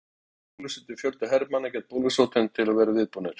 Hafa þeir látið bólusetja fjölda hermanna gegn bólusóttinni til að vera viðbúnir.